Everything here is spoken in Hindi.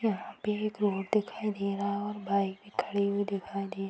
यह पे एक रोड दिखाई दे रहा है और बाइक भी खड़ी हुई दिखाई दे --